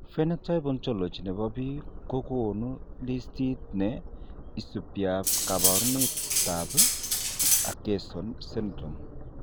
Phenotype Ontology ne po biik ko konu listiit ne subiap kaabarunetap Akesson syndrome.